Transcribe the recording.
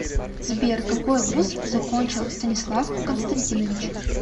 сбер какой вуз закончил станислав константинович